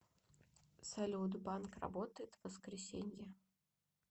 салют банк работает в воскресенье